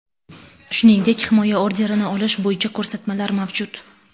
Shuningdek, himoya orderini olish bo‘yicha ko‘rsatmalar mavjud.